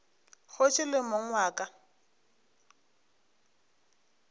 kgoši le mong wa ka